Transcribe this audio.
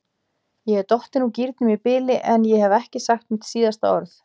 Ég er dottin úr gírnum í bili, en ég hef ekki sagt mitt síðasta orð.